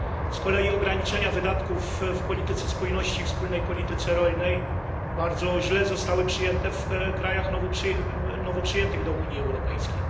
Z kolei ograniczenia wydatków w polityce spójności i we wspólnej polityce rolnej bardzo źle zostały przyjęte w krajach nowo przyjętych do Unii Europejskiej.